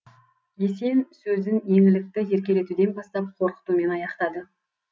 есен сөзін еңлікті еркелетуден бастап қорқытумен аяқтады